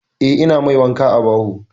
Eh, ina mai wanka a baho.